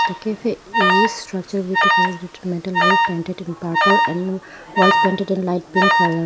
the cafe is structured with a colourful metal roof painted in purple and walls painted with light pink colour.